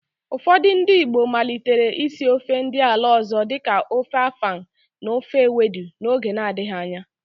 Ụfọdị ndị Igbo malitere ísí ofe ndị ala ọ̀zọ́ dịka ofe afang na ofe ewedu n'oge na-adịghị anya.